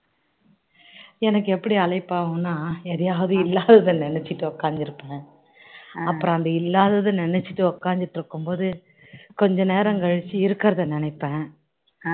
எனக்கு எப்படி அலைப்பாயும்னா எதையாவது இல்லாததை நினைச்சிட்டு உட்கார்ந்துருப்பேன் அப்பறோம் அந்த இல்லாததை நினைச்சிட்டு உட்கார்ந்துட்டு இருக்கும் போது கொஞ்சம் நேரம் கழிச்சு இருக்கிறத நினைப்பேன்